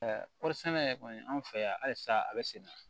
kɔɔri sɛnɛ kɔni an fɛ yan halisa a be sen na